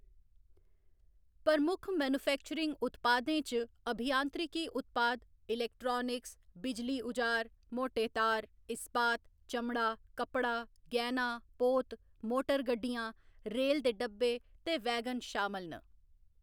प्रमुख मैन्युफैक्चरिंग उत्पादें च अभियांत्रिकी उत्पाद, इलेक्ट्रानिक्स, बिजली उजार, मोटे तार, इस्पात, चमड़ा, कप्पड़ा, गैह्‌‌‌ना, पोत, मोटर गड्डियां, रेल दे डिब्बे ते वैगन शामल न।